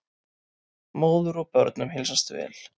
Móður og börnum heilsast vel.